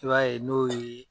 I b'a ye n'o ye